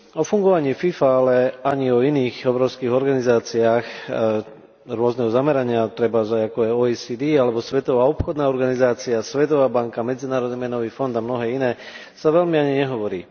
O fungovaní FIFA, ale ani o iných obrovských organizáciách rôzneho zamerania, trebárs ako je OECD alebo Svetová obchodná organizácia, Svetová banka, Medzinárodný menový fond a mnohé iné, sa veľmi ani nehovorí.